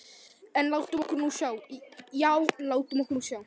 En látum okkur nú sjá, já, látum okkur nú sjá.